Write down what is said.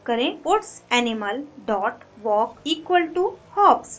type करें puts animal dot walk equal to hops